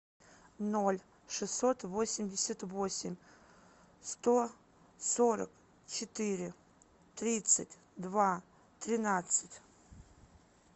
ноль шестьсот восемьдесят восемь сто сорок четыре тридцать два тринадцать